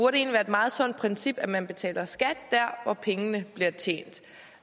er et meget sundt princip at man betaler skat der hvor pengene bliver tjent